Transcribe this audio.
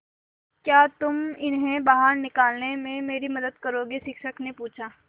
क्या तुम इन्हें बाहर निकालने में मेरी मदद करोगे शिक्षक ने पूछा